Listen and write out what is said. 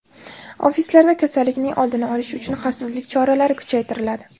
Ofislarda kasallikning oldini olish uchun xavfsizlik choralari kuchaytiriladi.